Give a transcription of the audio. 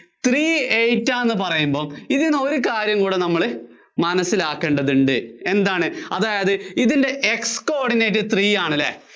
three eight ആന്ന് പറയുമ്പോ, ഇതീന്ന് ഒരു കാര്യം കൂടി നമ്മള്‍ മനസ്സിലാക്കേണ്ടതുണ്ട്. എന്താണ്, അതായത് ഇതിന്‍റെ x coordinatethree ആണ് അല്ലേ?